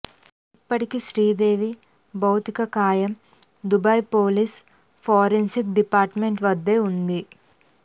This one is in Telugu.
ఇప్పటికీ శ్రీదేవి భౌతికకాయం దుబాయ్ పోలీస్ ఫోరెన్సిక్ డిపార్ట్మెంట్ వద్దే ఉంది